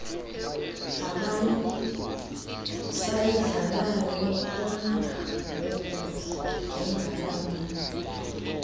nabasayidlalayo kunangoku njengabameli